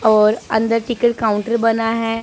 और अंदर ticket counter बना है।